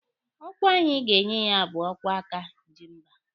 Ọkwa anyị ga-enye ya bụ ọkwa aka ji mba